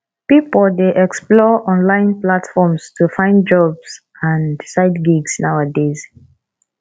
pipo dey explore online platforms to find jobs and side gigs nowadays